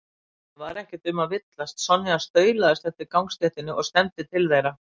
Það var ekki um að villast, Sonja staulaðist eftir gangstéttinni og stefndi til þeirra.